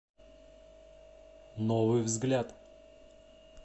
новый взгляд